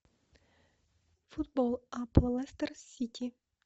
футбол апл лестер сити